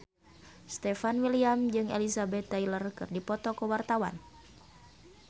Stefan William jeung Elizabeth Taylor keur dipoto ku wartawan